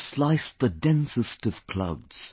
To slice the densest of clouds